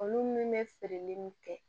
Olu min bɛ feereli kɛ